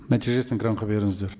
нәтижесін экранға беріңіздер